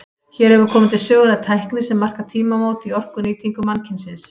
Hér hefur komið til sögunnar tækni sem markar tímamót í orkunýtingu mannkynsins.